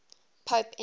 pope innocent